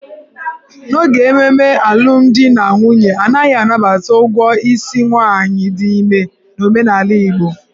N'oge ememe alụmdi na nwunye, a naghị anabata ụgwọ isi nwaanyị dị ime n'omenala Igbo.